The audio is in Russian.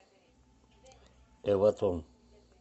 эватон